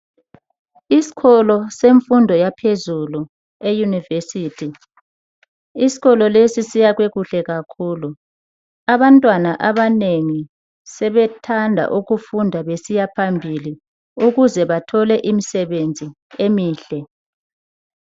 isikolo semfundo yaphezulu ye university isikolo lesi sibalulekile kakhulu abantwana abanengi sebethanda ukufunda besiyaphambili ukuze bathole misebenzi emihle